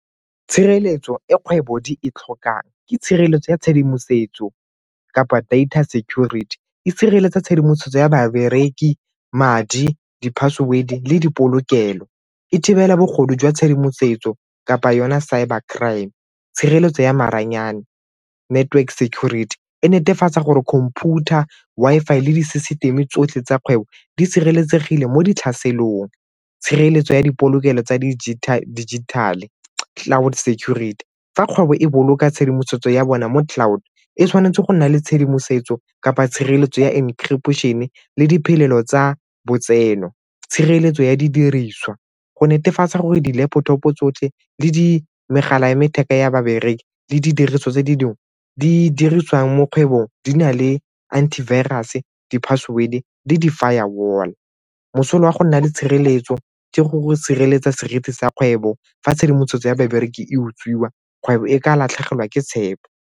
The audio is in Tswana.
Tshireletso e kgwebo di e tlhokang ke tshireletso ya tshedimosetso kapa data security. E sireletsa tshedimosetso ya babereki, madi di-password-e le dipolokelo. E thibela bogodu jwa tshedimosetso kapa yona cyber crime, tshireletso ya maranyane, network security. E netefatsa gore computer, Wi-Fi le di-system-e tsotlhe tsa kgwebo di sireletsegile mo di tlhaselong. Tshireletso ya dipolokelo tsa dijithale, cloud security, fa kgwebo e boloka tshedimosetso ya bona mo di-cloud e tshwanetse go nna le tshedimosetso kapa tshireletso ya encryption-e le diphelelo tsa botsenong tshireletso ya didiriswa go netefatsa gore di-laptop-o tsotlhe le megala ya letheka ya babereki le didiriswa tse dingwe di dirisiwang mo kgwebong di na le anti virus-e, di-password-e le di-firewall. Mosola wa go nna le tshireletso ke gore sireletsa seriti sa kgwebo fa tshedimosetso ya babereki e utswiwa kgwebo e ka latlhegelwa ke tshepo.